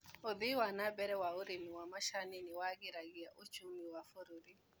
ũthii wa nambere ma ũrĩmi wa macani nĩwagĩragia uchumi wa bũrũrĩ.